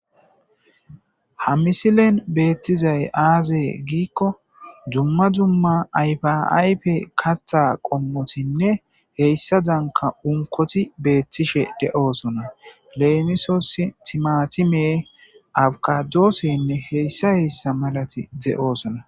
Ha misilen beettizay aazee giikko dzumma dzumma ayfaaype katha qommotinne heyssa danka unkoti beettishe de'oosona leemisosi timatime awkadoossenne heyssa heyssa malati de'oosona.